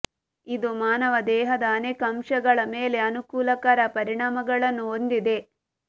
ಇದು ಮಾನವ ದೇಹದ ಅನೇಕ ಅಂಶಗಳ ಮೇಲೆ ಅನುಕೂಲಕರ ಪರಿಣಾಮಗಳನ್ನು ಹೊಂದಿದೆ